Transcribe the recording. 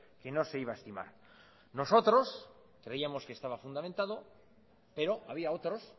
que no se iba a estimar nosotros creíamos que estaba fundamentado pero había otros